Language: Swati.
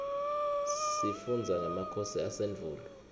sifundza ngemakhosi asendvulo